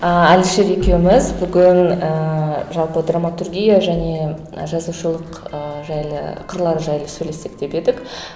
а әлішер екеуміз бүгін ііі жалпы драматургия және ы жазушылық ыыы жайлы қырлары жайлы сөйлессек деп едік